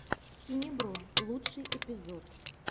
хинебро лучший эпизод